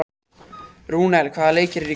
Rúnel, hvaða leikir eru í kvöld?